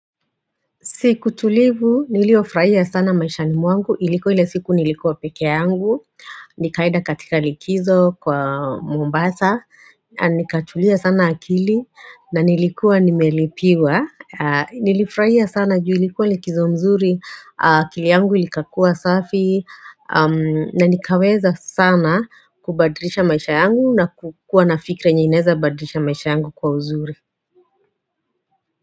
Siku tulivu, niliofurahia sana maishani mwangu, ilikuwa ile siku nilikuwa peke yangu, nikaenda katika likizo kwa Mombasa, nikatulia sana akili, na nilikuwa nimelipiwa, nilifurahia sana juu ilikuwa likizo nzuri, akili yangu ikakuwa safi, na nikaweza sana kubadirisha maisha yangu na kukua nafikra yenye inaweza badirisha maisha yangu kwa uzuri.